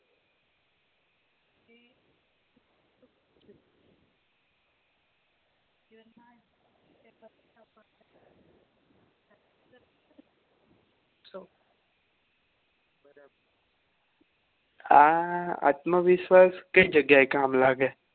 આ આત્મવિશ્વાસ કઈ જગ્યા એ કામ લાગે